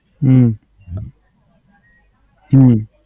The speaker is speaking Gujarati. હમ હમ